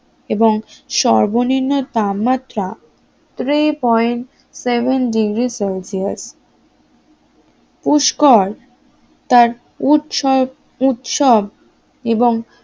এবং সর্বনিম্ন তাপমাত্রা three point seven degree Celsius Pushkar তার উৎসব উৎসব এবং